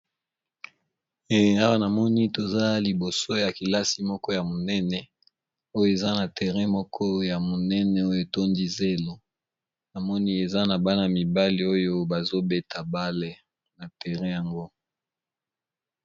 Awa namoni toza liboso ya kilasi moko ya monene oyo eza na terrain moko ya monene oyo etondi zelo namoni eza na bana mibale oyo bazobeta bale na terrain yango.